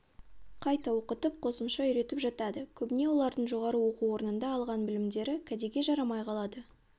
қайта оқытып қосымша үйретіп жатады көбіне олардың жоғары оқу орнында алған білімдері кәдеге жарамай қалады